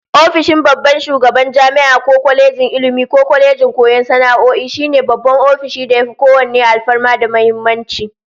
Ofishin babban shugaban jami'a ko kwalejin Ilmi ko kwalejin koyon sana'o'i, shine babban ofishin da yafi kowanne alfarma da muhimmanci